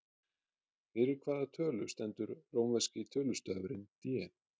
Fyrir hvaða tölu stendur rómverski tölustafurinn D?